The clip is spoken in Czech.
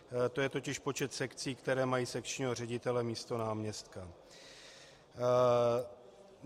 To je totiž počet sekcí, které mají sekčního ředitele místo náměstka.